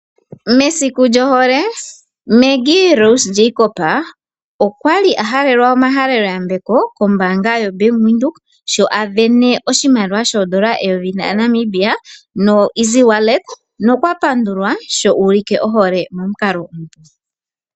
Mesiku lyohole Maggy Rose Jacob okwa li a halelwa omahalelo yambeko kombaanga yoBANK WINDHOEK sho a sindana oshimaliwa shoondola eyovi lya Namibian noEASY-WALLET nokwa pandulwa sho uulike ohole momukalo ngu.